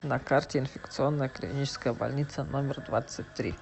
на карте инфекционная клиническая больница номер двадцать три